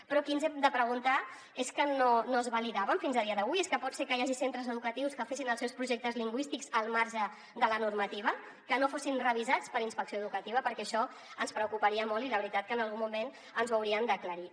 però aquí ens hem de preguntar és que no es validaven fins a dia d’avui és que pot ser que hi hagi centres educatius que fessin els seus projectes lingüístics al marge de la normativa que no fossin revisats per inspecció educativa perquè això ens preocuparia molt i la veritat és que en algun moment ens ho haurien d’aclarir